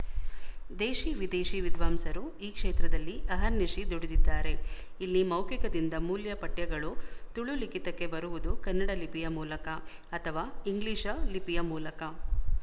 ದೇಶೀ ವಿದೇಶಿ ವಿದ್ವಾಂಸರು ಈ ಕ್ಷೇತ್ರದಲ್ಲಿ ಅಹರ್‌ನಿಶಿ ದುಡಿದಿದ್ದಾರೆ ಇಲ್ಲಿ ಮೌಖಿಕದಿಂದ ಮೂಲ ಪಠ್ಯಗಳು ತುಳು ಲಿಖಿತಕ್ಕೆ ಬರುವುದು ಕನ್ನಡ ಲಿಪಿಯ ಮೂಲಕ ಅಥವಾ ಇಂಗ್ಲಿಶ ಲಿಪಿಯ ಮೂಲಕ